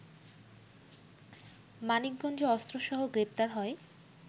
মানিকগঞ্জে অস্ত্রসহ গ্রেফতার হয়